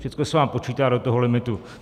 Všechno se vám počítá do toho limitu.